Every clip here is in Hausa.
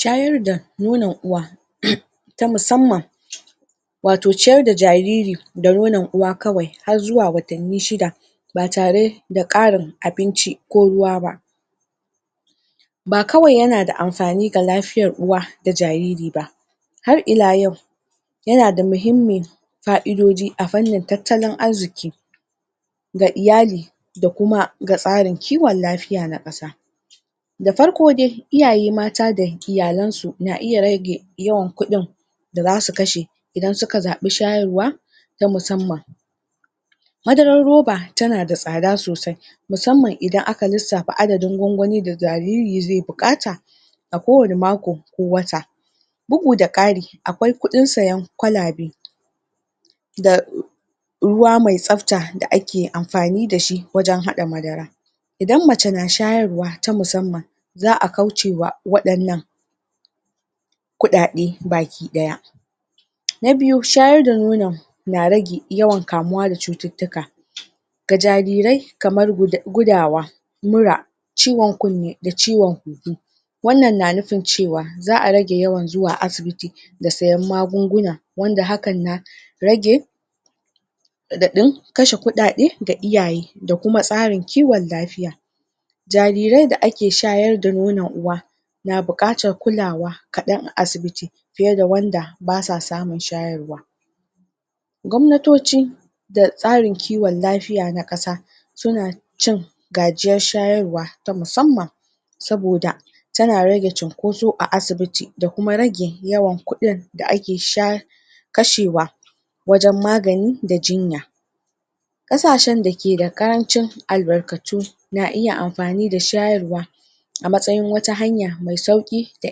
Sayar da nnon uwa umm ta musamman wato ciyar da jariri da nonon uwa kawai har zuwa watanni shida ba tare da karin abinci ko ruwa ba ba kawai yana da amfani ga lafiyar jariri ko uwa kawai ba har ila yau yana da mahimmi fa'idoji a farnin tattalin arziki ga iyali da kuma ga tsarin kiwan lafiya na kasa da farko dai iyaye mata da iyalansu na iye rage yawan kudin da za su kashe idan suka zabi shayarwa na musamman madarar roba tana da tsada sosai musamman idan aka lissafa adadin gwan-gwanin da jariri zai bukata a kowani mako ko wata bugu da kari a kwai kudin sayan kwalabe da u ruwa mai tsafta da ake amfani da shi wajan hada madara idan mace na shayarwa na musamman za a kaucewa wadannan kudade baki daya na biyu shayar da nono na rage yawan kamuwa da cututtuka ga jarire kamar gudawa mura ciwon kunne da ciwon huhu wannan na nufin cewa za a rage zuwa asibiti da sayan magunguna wanda hakan na rage dadin kashe kudade da iyaye da kuma tsarin kiwan lafiya jariran da ake shayar da nonon uwa na bukatar kulawa kadan a asibiti fiye da wanda basa samun shayarwa Gwamnatoci da tsarin kiwan lafiya na kasa suna cun gajiyar shayarwa ta musamman saboda tana rage cinkoso a asibiti da kuma rage yawan kudin da ake shaye kashewa wajan magani da jinya kasahen da ke da karancin albarkatu na iya amfani da shayarwa a matsayin wtaa hanya mai sauki da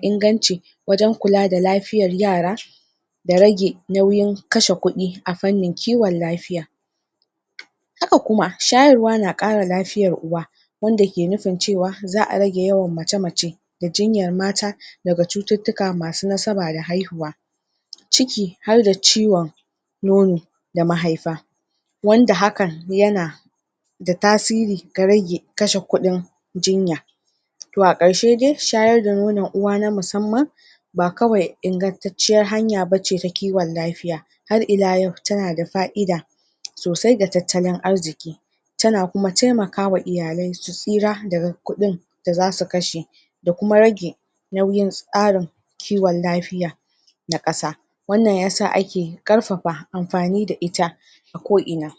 inganci wajan kula da lafiyan yara da rage nauyin kashe kudi a farnin kiwan lafiya haka kuma shayrwa na kara lafiyar uwa wanda ke nufin cewa za a rage yawan mace-mace da jinyar mata da cututtuka masu nasaba da haihuwa cuki harda ciwon nono da mahaifa wanda hakan yana da tasiri ga rage kase kudin jina to a karshede shayar da nonon uwa na musamman ba kawai ingantacciyar hanya ba ce ta kiwan lafiya har ila yau tana da fa'ida sosai ga tattalin arziki tana kuma temakawa iyale su tsira daga kudin da za su kashe da kuma rage nauyin tsarin kiwan lafiya na kasa wannan ya sa ake karfafa amfani da ita a ko'ina